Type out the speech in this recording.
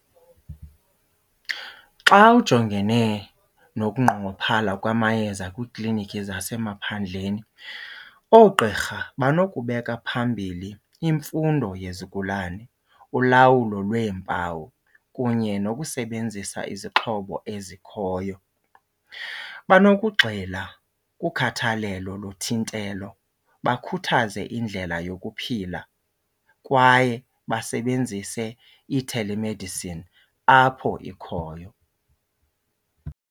Xa ujongene nokunqongophala kwamayeza kwiiklinikhi zasemaphandleni oogqirha banokubeka phambili imfundo yezigulane, ulawulo lweempawu kunye nokusebenzisa izixhobo ezikhoyo. Banokugxila kukhathalelo lothintelo, bakhuthaze indlela yokuphila kwaye basebenzise i-telemedicine apho ikhoyo.